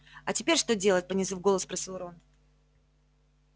а теперь что делать понизив голос спросил рон